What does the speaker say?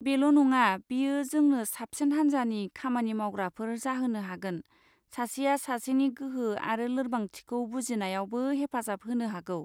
बेल' नङा, बेयो जोंनो साबसिन हान्जानि खामानि मावग्राफोर जाहोनो हागोन, सासेया सासेनि गोहो आरो लोरबांथिखौ बुजिनायावबो हेफाजाब होनो हागौ।